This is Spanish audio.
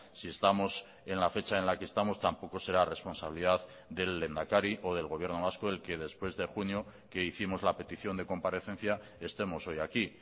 si estamos en la fecha en la que estamos tampoco será responsabilidad del lehendakari o del gobierno vasco el que después de junio que hicimos la petición de comparecencia estemos hoy aquí